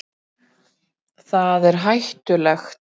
Það er hættulegt.